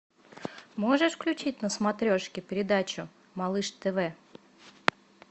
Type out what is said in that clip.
можешь включить на смотрешке передачу малыш тв